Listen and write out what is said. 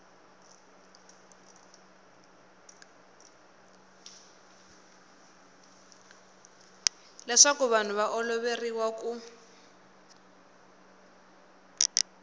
leswaku vanhu va oloveriwa ku